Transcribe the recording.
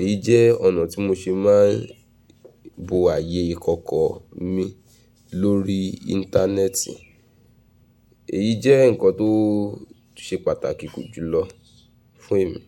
Èyí jẹ́ ọ̀nà tí mo ṣe má ń bo ààyè ìkọọ̀kọọ mi lórí íńtánẹ́ẹ̀tì. Èyí jẹ́ nǹkan tó ṣe pàtàkì jùlọ fún èmi.